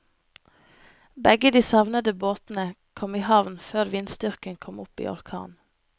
Begge de savnede båtene kom i havn før vindstyrken kom opp i orkan.